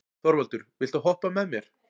Þorvaldur, viltu hoppa með mér?